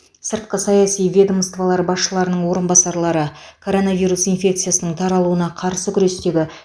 сыртқы саяси ведомстволар басшыларының орынбасарлары коронавирус инфекциясының таралуына қарсы күрестегі